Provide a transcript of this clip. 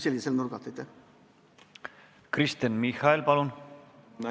Kristen Michal, palun!